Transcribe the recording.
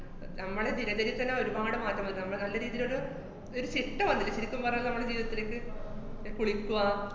നമ്മടെ ദിനചര്യത്തന്നെ ഒരുപാട് മാറ്റം വന്നിട്ടുണ്ട്. നമ്മള് നല്ല രീതീലൊരു ഒരു ചിട്ട വന്നിട്ടുണ്ട് ശെരിക്കും പറഞ്ഞാ നമ്മടെ ജീവിതത്തിലേക്ക് കുളിക്കുക,